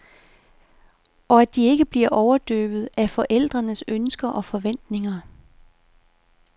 Og at de ikke bliver overdøvet af forældrenes ønsker og forventninger.